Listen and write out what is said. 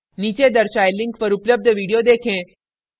नीचे दर्शाये link पर उपलब्ध video देखें